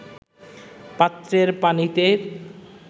পাত্রের পানিতে